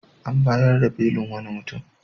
An bayar da belin wani mutum.